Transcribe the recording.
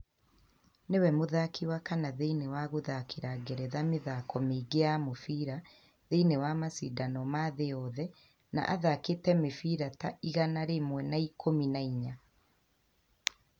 Nĩwe mũthaki wa kana thĩiniĩ wa guthakira Ngeretha mĩthako miingi ya mubira thĩiniĩ wa macindano ma thĩ yothe na athakĩte mĩbĩra ta igana rĩmwe na ikũmi na inya.